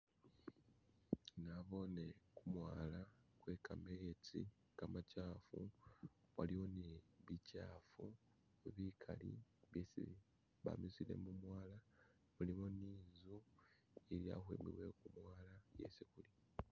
Nabone gumwala gwe gamenzi gamakyafu waliwo ni bikyafu bigali byesi bamisile mumwala waliwo ninzu ili akumpi wegumwala isi guli